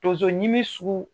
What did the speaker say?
Tonzo ɲimi sugu